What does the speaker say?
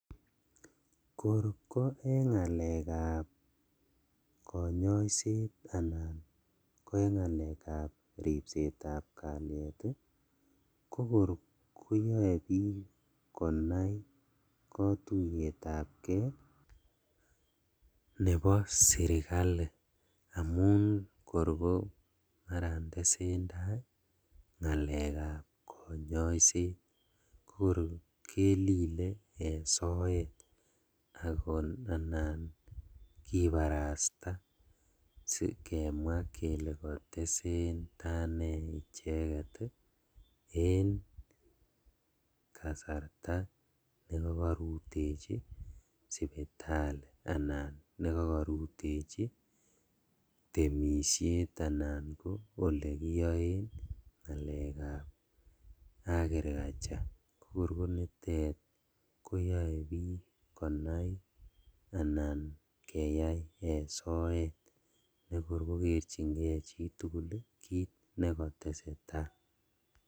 Kor ko en ngalekab konyoiset anan ko en ngalekab ripsetab kaliet ii kokor koyoe bik konai kotuyetabgee nebo sirkali, amun kor komaran tesentai ngalekab konyoiset kokor kelile en soet anan kibarasta sikemwaa kele kotesendaa nee icheket ii en kasarta nekokorutechi sipitali, anan nekokorutechi temishet, anan ko elekiyoen ngalekab agriculture kokor konitet koyae bik anan kenai en soet nekor konyorjingee chitugul kit nekotesetaa